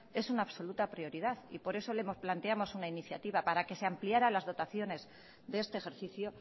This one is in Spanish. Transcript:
es una absoluta prioridad y por eso le planteamos una iniciativa para que se ampliara las dotaciones de este ejercicio